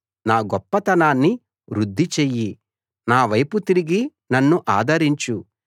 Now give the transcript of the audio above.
నా గొప్పతనాన్ని వృద్ధిచెయ్యి నావైపు తిరిగి నన్ను ఆదరించు